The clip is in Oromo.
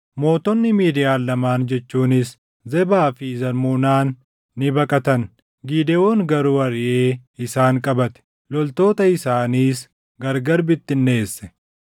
Mootonni Midiyaan lamaan jechuunis Zebaa fi Zalmunaan ni baqatan; Gidewoon garuu ariʼee isaan qabate; loltoota isaaniis gargari bittinneesse.